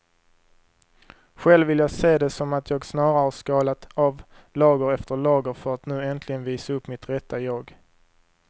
Själv vill jag se det som att jag snarare har skalat av lager efter lager för att nu äntligen visa upp mitt rätta jag.